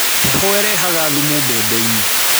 Heho ĩrehaga thumu mbembe-inĩ